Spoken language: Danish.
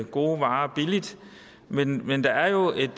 gode varer billigt men men der er jo et